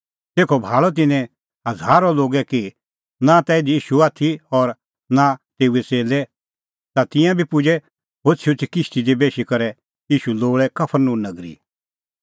तेखअ भाल़अ तिन्नैं हज़ारो लोगै कि नां ता इधी ईशू आथी और नां ता तेऊए च़ेल्लै ता तिंयां बी पुजै होछ़ीहोछ़ी किश्ती दी बेशी करै ईशू लोल़ै कफरनहूम नगरी